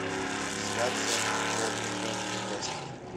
трансляция тоттенхэм и лестер